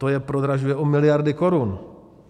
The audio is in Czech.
To je prodražuje o miliardy korun.